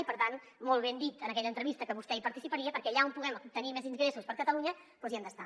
i per tant molt ben dit en aquella entrevista que vostè hi participaria perquè allà on puguem obtenir més ingressos per a catalunya hi hem d’estar